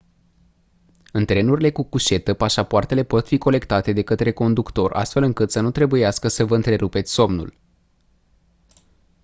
în trenurile cu cușetă pașapoartele pot fi colectate de către conductor astfel încât să nu trebuiască să vă întrerupeți somnul